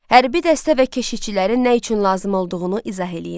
Hərbi dəstə və keşişçilərin nə üçün lazım olduğunu izah eləyin.